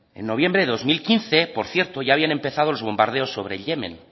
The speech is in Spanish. noviembre de dos mil quince por cierto ya habían empezado los bombardeos sobre yemen